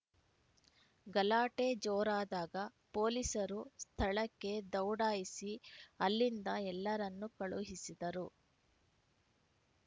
ಗಲಾಟೆ ಜೋರಾದಾಗ ಪೊಲೀಸರು ಸ್ಥಳಕ್ಕೆ ದೌಡಾಯಿಸಿ ಅಲ್ಲಿಂದ ಎಲ್ಲರನ್ನೂ ಕಳುಹಿಸಿದರು